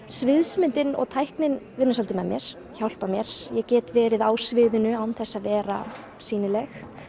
sviðsmyndin og tæknin vinnur svolítið með mér hjálpar mér ég get verið á sviðinu án þess að vera sýnileg